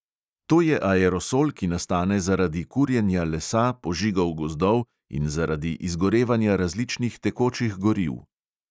To je aerosol, ki nastane zaradi kurjenja lesa, požigov gozdov in zaradi izgorevanja različnih tekočih goriv.